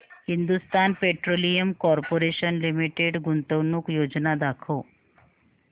Hindustan petroleum corporation limited गुंतवणूक योजना दाखव